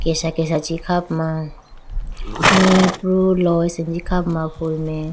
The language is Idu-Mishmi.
kesha kesha chi kha puma mee pru lo asenji kha puma.